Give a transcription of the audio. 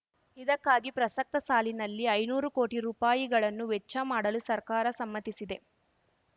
ಇದಕ್ಕಾಗಿ ಪ್ರಸಕ್ತ ಸಾಲಿನಲ್ಲಿ ಐನೂರು ಕೋಟಿ ರೂಪಾಯಿಗಳನ್ನು ವೆಚ್ಚ ಮಾಡಲು ಸರ್ಕಾರ ಸಮ್ಮತಿಸಿದೆ